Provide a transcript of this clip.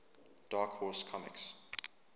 dark horse comics